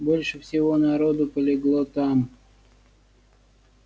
больше всего народу полегло там